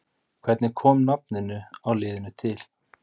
Hvernig kom nafninu á liðinu til?